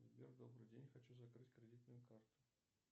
сбер добрый день хочу закрыть кредитную карту